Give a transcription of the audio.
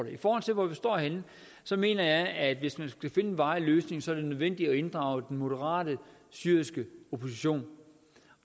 i forhold til hvor vi står henne mener jeg at hvis man skal finde en varig løsning er det nødvendigt at inddrage den moderate syriske opposition